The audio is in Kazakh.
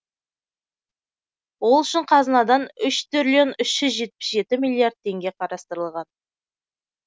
ол үшін қазынадан үш триллион үш жүз жетпіс жеті миллиард теңге қарастырылған